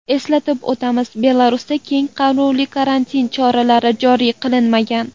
Eslatib o‘tamiz, Belarusda keng qamrovli karantin choralari joriy qilinmagan.